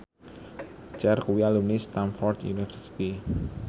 Cher kuwi alumni Stamford University